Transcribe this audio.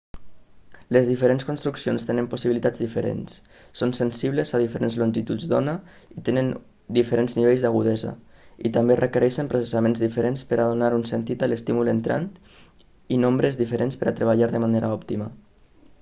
les diferents construccions tenen possibilitats diferents són sensibles a diferents longituds d'ona i tenen diferents nivells d'agudesa i també requereixen processaments diferents per a donar un sentit a l'estímul entrant i nombres diferents per a treballar de manera òptima